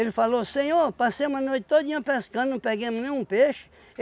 falou, Senhor, passei uma noite todinha pescando, não peguemo nenhum peixe.